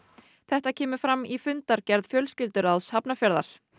þetta kemur fram í fundargerð fjölskylduráðs Hafnarfjarðar